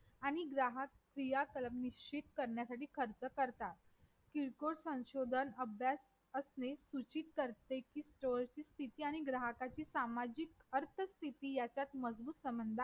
आणि ग्राहक क्रिया कलम निश्चित करण्यासाठी खर्च करतात किरकोळ संशोधन अभ्यास असणे सूचित करते कि stor ची स्तिथी आणि ग्राहकाची सामाजिक अर्थ स्तिथी यात मजबूत संबंध आहे